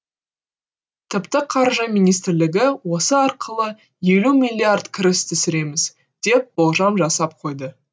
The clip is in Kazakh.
тіпті қаржы министрлігі осы арқылы елу миллиард кіріс түсіреміз деп болжам жасап қойды